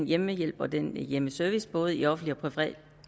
hjemmehjælp og den hjemmeservice både i offentligt og